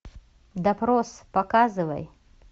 допрос показывай